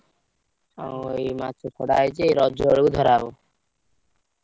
ଆଉ ଏ ମାଛ ଛଡା ହେଇଛି ରଜବେଳକୁ ଧାରା ହବ।